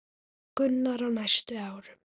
Gunnar: Á næstu árum?